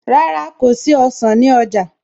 Rárá, kò ra ọsàn ní ọjà